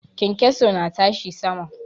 Kyankyaso na tashi sama.